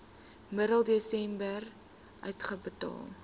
middel desember uitbetaal